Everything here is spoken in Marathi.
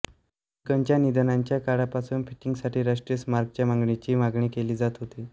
लिंकनच्या निधनाच्या काळापासून फिटिंगसाठी राष्ट्रीय स्मारकाच्या मागणीची मागणी केली जात होती